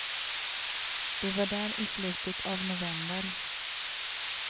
Vi var där i slutet av november.